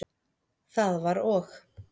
Það var og.